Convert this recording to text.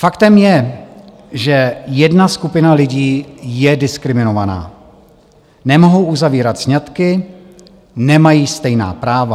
Faktem je, že jedna skupina lidí je diskriminovaná, nemohou uzavírat sňatky, nemají stejná práva.